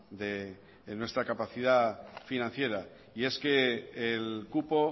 de nuestra capacidad financiera y es que el cupo